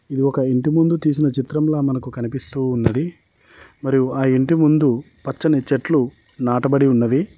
ఇది ఒక ఇంటి ముందు తీసిన చిత్రం లా మనకు కనిపిస్తూ ఉన్నది మరియు ఆ ఇంటి ముందు పచ్చని చెట్లు నాటబడి ఉన్నది.